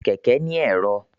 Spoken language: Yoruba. Kẹkẹ ni ẹ̀rọ.